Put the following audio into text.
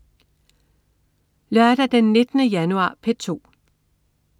Lørdag den 19. januar - P2: